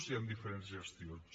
i amb diferents gestions